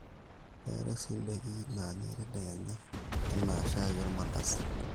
keetae sii ndaiki naanyai tadekenya anaa shai olmandazi